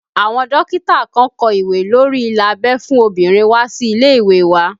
Àwọn dókítà kan kó ìwé lórí ila abẹ́ fún obìnrin wá sí ilé ìwé wa